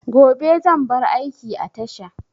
Gobe zan bar aiki a tasha